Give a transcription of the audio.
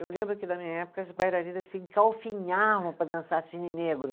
Eu lembro que, na minha época, as bailarinas se engalfinhavam para dançar cisne negro.